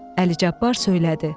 Əli Cabbar söylədi: